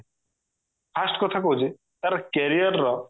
first କଥା କହୁଛି ତାର career ର